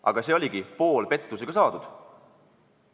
Aga see tulemus oligi pooleldi pettusega saadud.